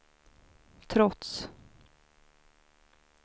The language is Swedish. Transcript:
trots